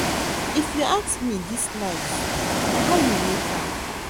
If you ask me dis life na how you make am.